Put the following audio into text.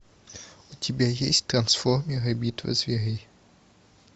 у тебя есть трансформеры битва зверей